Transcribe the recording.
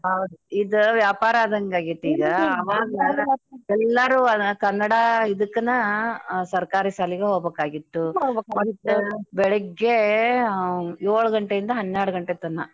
ಹೌದ ಇದ ವ್ಯಾಪಾರ ಆದಂಗಾಗೆೇತೀಗ ಎಲ್ಲರೂ ಆ ಕನ್ನಡ ಇದಕ್ಕನ ಅ ಸರ್ಕಾರಿ ಸಾಲಿಗ ಹೋಬಕಾಗಿತ್ತು ಬೆಳಿಗ್ಗೇ ಯೋಳ್ ಗಂಟೆ ಇಂದ ಹನ್ನೆಳ್ದ್ ಗಂಟೆತನ. ಅದೂ ಹೆಂಗ ನಮ್ಮನ್ಯಾಗ ಅವ್ಗುಳು ಏನು ಅವ್ರೇನೂ ಮಾಡ್ತಿದ್ದಿಲ್ಲ ನಾವಾ .